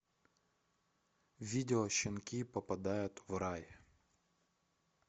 видео щенки попадают в рай